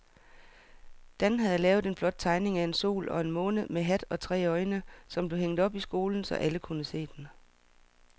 Dan havde lavet en flot tegning af en sol og en måne med hat og tre øjne, som blev hængt op i skolen, så alle kunne se den.